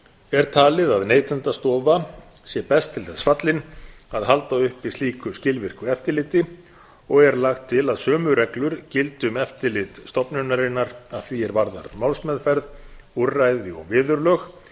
er talið að neytendastofa sé best til þess fallin að halda uppi slíku skilvirku eftirliti og er lagt til að sömu reglur gildi um eftirlit stofnunarinnar að því er varðar málsmeðferð úrræði og viðurlög